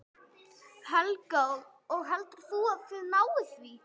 Helga: Og heldur þú að þið náið því?